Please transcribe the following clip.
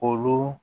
Olu